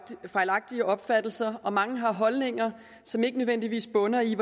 fejlagtige opfattelser og mange har holdninger som ikke nødvendigvis bunder i